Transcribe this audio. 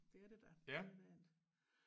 Det er det da men øh